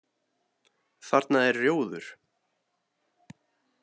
Þarna er rjóður.